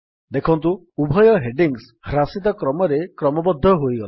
ଦେଖନ୍ତୁ ଉଭୟ ହେଡିଙ୍ଗ୍ସ ହ୍ରାସିତ କ୍ରମରେ କ୍ରମବଦ୍ଧ ହୋଇଗଲା